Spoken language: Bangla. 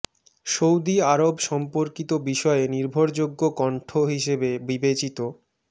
সৌদি আরব সম্পর্কিত বিষয়ে নির্ভরযোগ্য কণ্ঠ হিসাবে বিবেচিত মি